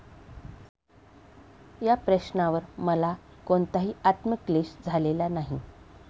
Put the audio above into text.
या प्रश्नावर मला कोणताही आत्मक्लेश झालेला नाही.